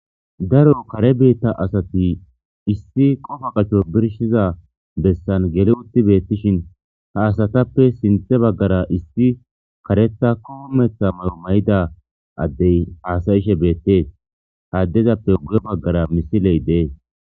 Daro kare biita asati istti qofa gaso birshshiza besan geli utti beetishin ha asatappe sinthe bagara issi kareththa kumeththa mayo mayiza adde haasayishe beetees. Ha addezappe guye bagara misile dees.